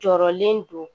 Jɔrɔlen don